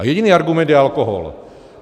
A jediný argument je alkohol.